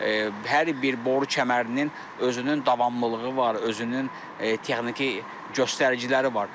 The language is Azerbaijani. Hər bir boru kəmərinin özünün davamlılığı var, özünün texniki göstəriciləri var.